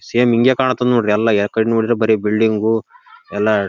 same ಹಿಂಗ ಕಾಣತಾವ್ ನೋಡ್ರಿ ಯಾ ಕಡೆ ನೋಡಿದ್ರು ಬರೇ ಬಿಲ್ಡಿಂಗ್ ಉ ಎಲ್ಲ--